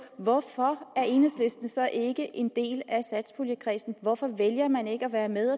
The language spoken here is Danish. hvorfor er enhedslisten så ikke en del af satspuljekredsen hvorfor vælger man ikke at være med